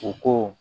U ko